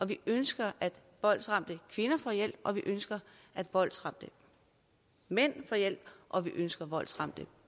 vi ønsker at voldsramte kvinder får hjælp og vi ønsker at voldsramte mænd får hjælp og vi ønsker at voldsramte